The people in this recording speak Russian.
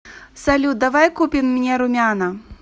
салют давай купим мне румяна